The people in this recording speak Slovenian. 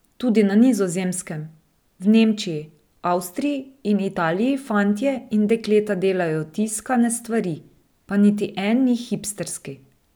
Tudi na Nizozemskem, v Nemčiji, Avstriji in Italiji fantje in dekleta delajo tiskane stvari, pa niti en ni hipsterski.